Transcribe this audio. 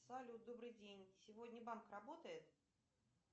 салют добрый день сегодня банк работает